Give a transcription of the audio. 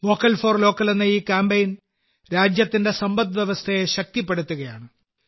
vocal for local എന്ന ഈ campaign രാജ്യത്തിന്റെ സമ്പദ് വ്യവസ്ഥയെ ശക്തിപ്പെടുത്തുകയാണ്